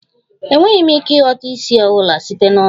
Enweghị m ike ịghọta ísì ọ bụla site n'ọnụ ya